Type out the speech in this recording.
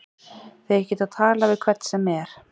Þeir geta talað við hvern sem er.